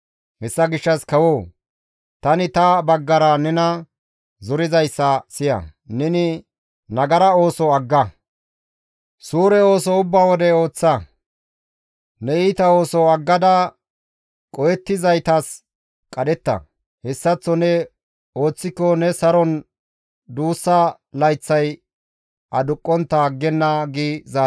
Hessa gishshas kawoo! Tani ta baggara nena zorizayssa siya; neni nagara ooso agga; suure ooso ubba wode ooththa; ne iita ooso aggada qohettizaytas qadhetta; hessaththo ne ooththiko ne saron duussa layththay aduqqontta aggenna» gides.